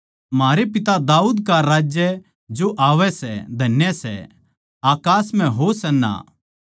म्हारै पिता दाऊद का राज्य जो आवै सै धन्य सै अकास म्ह होशाना